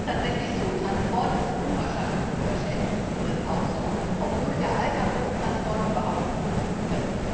Es ist tatsächlich so, Transport ist unwahrscheinlich unterschätzt ich sehe das auch so obwohl der Alltag ohne Transport überhaupt nicht funktioniert.